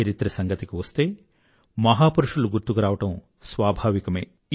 చరిత్ర సంగతి వస్తే మహాపురుషులు గుర్తుకురావడం స్వాభావికమే